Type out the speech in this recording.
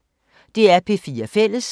DR P4 Fælles